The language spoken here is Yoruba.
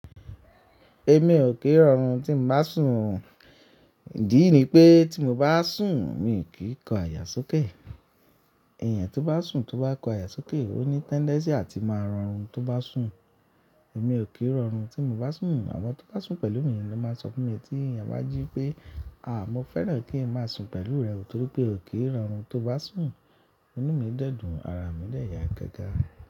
Èmi ò kí ń rọrùn tí mba bá sùn. Idí ní pé tí mo bá sùn, mi n kíń kọ àyà sókè. Ẹ̀yàn tó bá sùn tó bá kọ àyà sókè, ó ní tendency àti máa rọrùn tó bá sùn. Èmi ò kí ń rọrùn tí mo bá sùn. Àwọn tó bá sùn pẹ̀lú mi ni ó máa ń sọ fún mi pé tí ènìyàn bá jí pé, "àá, mo fẹ́ràn kí ń máa sùn pẹ̀lú rẹ o torí pé ò kí ń rọrùn tó bá sùn." Inú mi dẹ́dùn, ara mi dẹ̀ yà gágá.